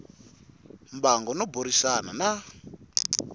mbango no burisana na n